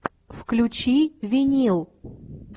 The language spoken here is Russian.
включи винил